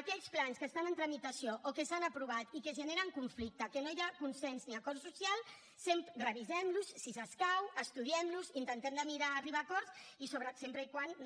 aquells plans que estan en tramitació o que s’han aprovat i que generen conflicte en què no hi ha consens ni acord social revisem los si escau estudiem los intentem d’arribar a acords sempre que no